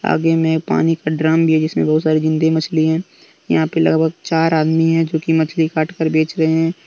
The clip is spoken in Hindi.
आगे में पानी का ड्रम भी है जिसमें बहुत सारी जिंदी मछली है यहां पे लगभग चार आदमी है जो की मछली काट कर बेच रहे हैं।